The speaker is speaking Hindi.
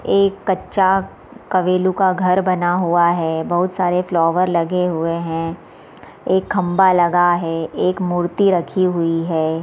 एक कच्चा कवेलू का घर बना हुआ है बहुत सारे फ्लावर लगे हुए हैं एक खम्बा लगा हुआ है एक मूर्ति रखी हुई है।